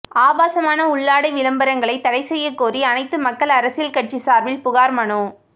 ஆபாசமான உள்ளாடை விளம்பரங்களை தடைச்செய்யக்கோரி அனைத்து மக்கள் அரசியல் கட்சி சார்பில் புகார் மனு